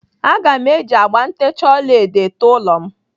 Aga m eji agba ntecha ọlaedo été ụlọ m